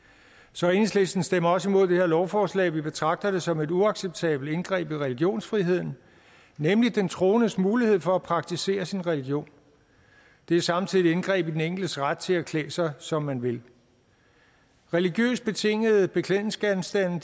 så enhedslisten stemmer også imod det her lovforslag vi betragter det som et uacceptabelt indgreb i religionsfriheden nemlig den troendes mulighed for at praktisere sin religion det er samtidig et indgreb i den enkeltes ret til at klæde sig som man vil religiøst betingede beklædningsgenstande